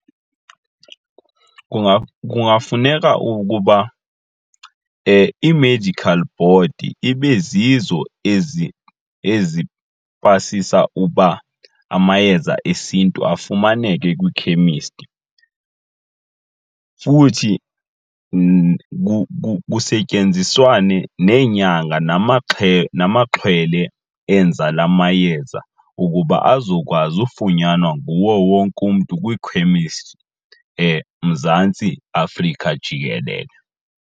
Kungafuneka ukuba ii--medical board ibe zizo ezipasisa uba amayeza esiNtu afumaneke kwiikhemisti futhi kusetyenziswana neenyanga namaxhwele enza la mayeza ukuba azokwazi ufunyanwa nguwo wonke umntu kwikhemisti eMzantsi Afrika jikelele.